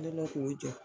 Kɛlen k'o jɔ